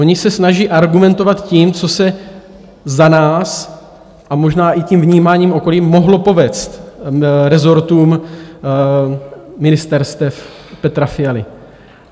Oni se snaží argumentovat tím, co se za nás - a možná i tím vnímáním okolí - mohlo povést rezortům ministerstev Petra Fialy.